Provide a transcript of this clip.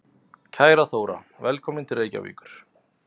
Kæra Þóra. Velkomin til Reykjavíkur.